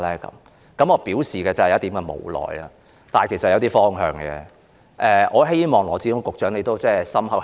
我當時表示有點無奈，但其實我是有些方向的，我希望羅致光局長會加以考慮。